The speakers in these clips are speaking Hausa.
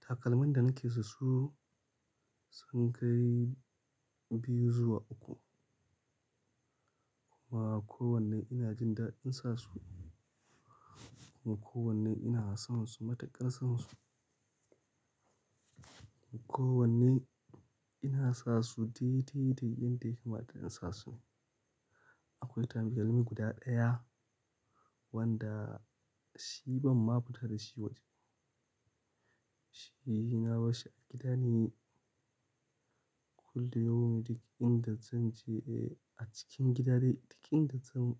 Takalmin da nake son su, sun kai biyu zuwa uku. Kuma kowanne ina jin daɗin sa su, kuma kowanne ina son su, matuƙar son su. Kowanne ina sa su dai dai da yanda ya kamata na sa su. Akwai takalmi guda ɗaya wanda shi ban ma fita da shi waje. Shi na barshi a gida ne. Kullum duk inda zan je, eh, a cikin gida dai duk inda zan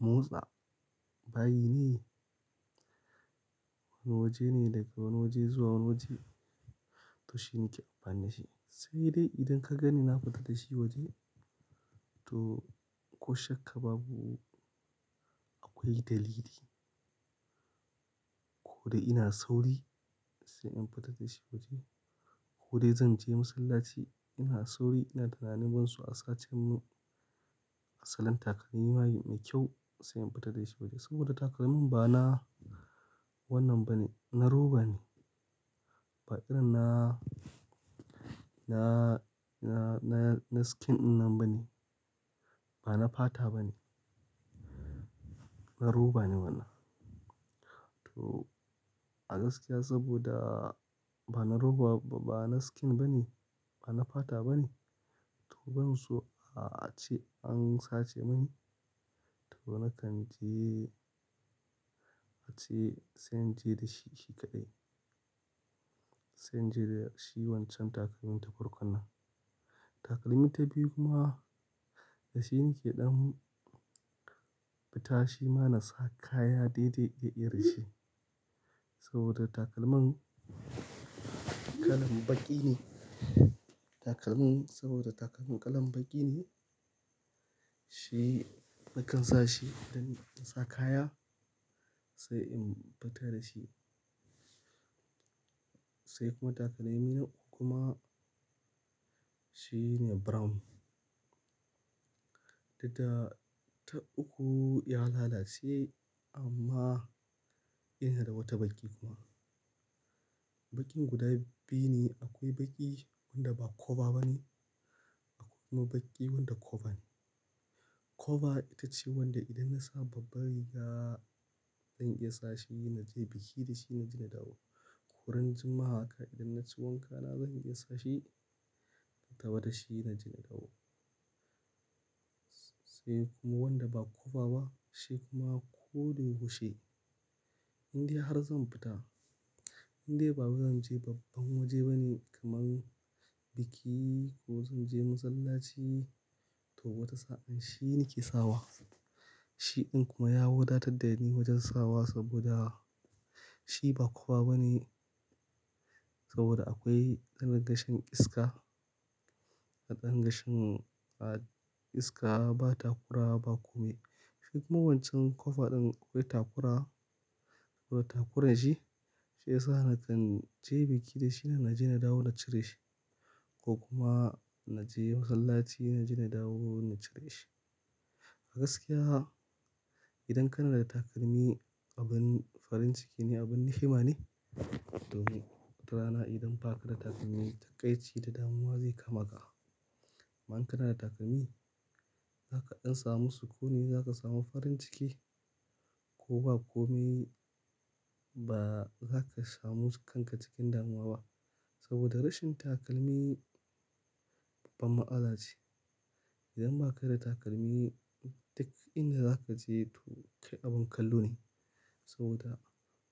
motsa bayi ne. Wani waje ne daga wani waje zuwa wani waje, to shi nake amfani da shi. Sai dai idan ka gani na fita da shi waje to ko shakka babu akwai dalili. Idan ina sauri sai in fita da shi waje ko dai zan je masallaci ina sauri ina tunanin ban so a sace mun asalin takalmin bayi mai kyau sai in fita da shi waje. Saboda takalmin ba na wannan bane, na roba ne. Ba irin na, na, na, na skin ɗinnan bane, ba na fata bane. Na roba ne wannan. To a gaskiya saboda ba na roba, ba na skin bane, ba na fata bane to ban so a ace an sace mani. To nakan je ace sai in je da shi, shi kaɗai. Sai in je da shi wancan takalmin ta farkon. Takalmi ta biyu kuma da shi nake ɗan fita shi ma na sa kaya dai dai da irin shi. Saboda takalman kalan baƙi ne. Takalmin, saboda takalmin kalan baƙi ne shi nakan sa shi idan na sa kaya sai in fita da shi. Sai kuma takalmi na uku kuma, shi ne brown. Daga ta uku ya lalace amma ina da wata baƙi kuma. Baƙin guda biyu ne. Akwai baƙi wanda ba koba banez akwai kuma baƙi wanda koba ne. Koba ita ce wanda idan na sa babban riga zan iya sa shi na je biki da shi na je na dawo. Ran juma'a haka idan naci wanka na zan iya sa shi, in taho da shi masallaci sai kuma wanda ba koba ba, shi kuma ko da yaushe indai har zan fita, indai ba zan je babban waje bane kamar biki ko zan je masallaci to wata sa'an shi nake sawa. Shi ɗin kuma ya wadatar da ni wajen sawa saboda shi ba kowa bane. Saboda akwai hanya ga shan iska, a din ga shan iska ba takura ba komai. Shi kuma wancan koba ɗin akwai takura. Saboda takurar shi, shi yasa nakan je biki da shi, na je na dawo na cire shi ko kuma na je masallaci na je na dawo na cire shi. A gaskiya idan kana da takalmi abin farin ciki ne, abin ni'ima ne. Domin wata rana idan ba ka da takalmi taƙaici da damuwa zai kama ka. amMa in kana da takalmi, zaka in samu sukuni zaka samu farin ciki ko ba kom ba zaka samu kanka cikin damuwa ba. Saboda rashin takalmi babban matsala ce. Idan ba ka da takalmi duk inda zaka je to kai abin kallo ne. Saboda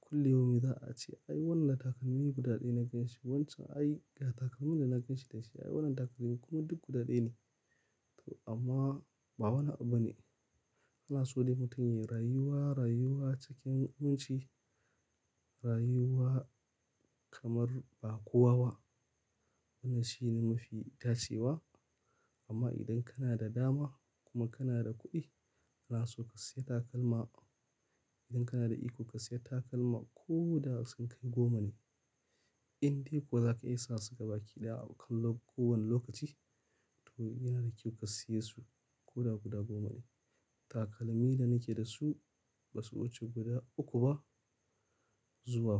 kullum za a ce, "Ai wannan takalmi guda ɗaya na ganshi wancan. Ai ga takalmin da na ganshi da shi. Ai wannan takalmin, kuma duk guda ɗaya ne." To amma ba wani abu bane. Ana so dai mutum yayi rayuwa, rayuwa cikin mutunci, rayuwa kamar ba kowa ba. Wannan shine mafi dacewa. Amma idan kana da dama kuma kana da kuɗi, ana so ka siya takalma. Idan kana da iko ka siya takalma ko da sun kai goma ne. Indai kuwa zaka iya sa su gaba ki ɗaya a kallum ko wani lokaci, to yana da kyau ka siye su ko da guda goma ne. Takalmi da nake da su ba su wuce guda uku ba zuwa hudu.